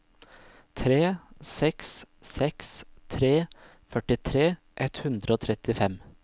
tre seks seks tre førtitre ett hundre og trettifem